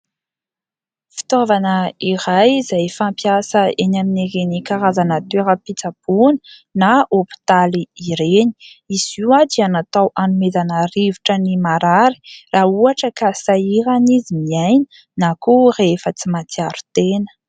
Fitaovana iray izay fampiasa eny amin'ireny karazana toeram-pitsaboana na hôpitaly ireny. Izy io dia natao hanomezana rivotra ny marary raha ohatra ka sahirana izy miaina na koa rehefa tsy matsiaro tena.